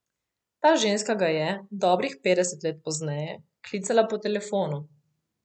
Ta ženska ga je, dobrih petdeset let pozneje, klicala po telefonu.